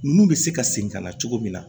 Nun bɛ se ka segin ka na cogo min na